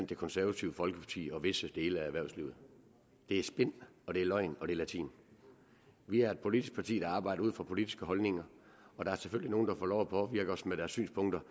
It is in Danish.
det konservative folkeparti og visse dele af erhvervslivet det er spin og løgn og latin vi er et politisk parti der arbejder ud fra politiske holdninger og der er selvfølgelig nogle der får lov at påvirke os med deres synspunkter